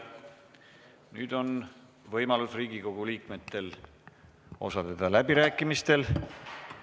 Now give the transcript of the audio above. Nüüd on võimalus Riigikogu liikmetel osaleda läbirääkimistel.